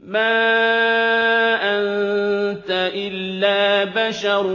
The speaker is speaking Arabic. مَا أَنتَ إِلَّا بَشَرٌ